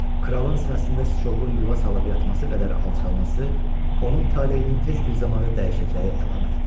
Kralın sinəsində sıçovulun yuva salıb yatması qədər alçalması onun taleyinin tez bir zamanda dəyişəcəyi əlamətidir.